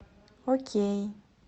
окей